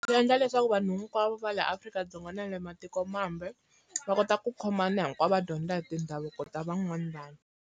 Swi endla leswaku vanhu hinkwavo va la Afrika-Dzonga na le matikomambe, va kota ku khomana hinkwavo va dyondza hi tindhavuko ta van'wani vanhu.